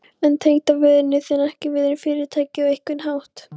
Er tengdafaðir þinn ekki viðriðinn Fyrirtækið á einhvern hátt?